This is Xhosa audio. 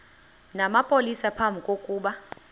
namapolisa phambi kokuba